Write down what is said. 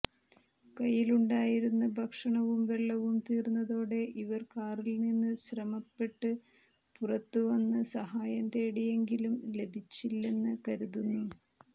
കൈയിലുണ്ടായിരുന്ന ഭക്ഷണവും വെള്ളവും തീർന്നതോടെ ഇവർ കാറിൽനിന്ന് ശ്രമപ്പെട്് പുറത്തുവന്ന് സഹായം തേടിയെങ്കിലും ലഭിച്ചില്ലെന്ന് കരുതുന്നു